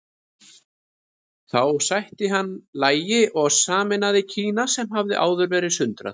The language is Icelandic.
Þá sætti hann lagi og sameinaði Kína sem hafði áður verið sundrað.